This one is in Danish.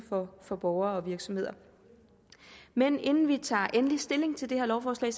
for borgere og virksomheder men inden vi tager endelig stilling til det her lovforslag